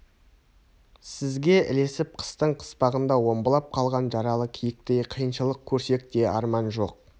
сізге ілесіп қыстың қыспағында омбылап қалған жаралы киіктей қиыншылық көрсек те арман жоқ